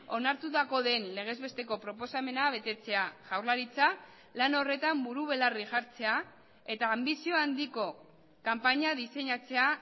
onartutako den legez besteko proposamena betetzea jaurlaritza lan horretan buru belarri jartzea eta anbizio handiko kanpaina diseinatzea